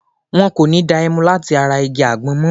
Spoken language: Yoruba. Wọ́n kò ní da ẹmu láti ara igi àgbọn mọ.